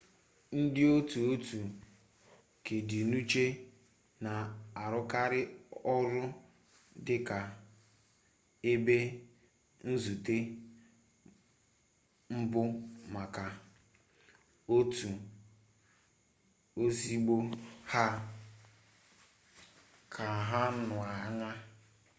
ndịotu otu kedịnuche na-arụkarị ọrụ dị ka ebe nzute mbụ maka otu ozugbo ha keanahụanya